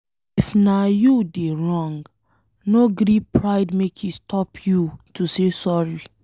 If na you dey wrong, no gree pride make e stop you to say sorry.